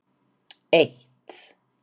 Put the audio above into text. eitt